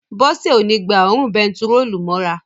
Bọ́sẹ̀ ó ní gba òórùn bentiróòlù mọ́ra